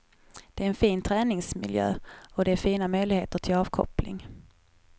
Det är en fin träningsmiljö, och det är fina möjligheter till avkoppling.